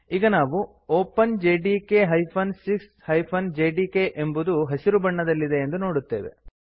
ಈಗ ನಾವು openjdk 6 JDK ಎಂಬುದು ಹಸಿರು ಬಣ್ಣದಲ್ಲಿದೆ ಎಂದು ನೋಡುತ್ತೇವೆ